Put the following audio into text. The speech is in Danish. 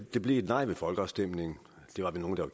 det blev et nej ved folkeafstemningen det var vi nogle der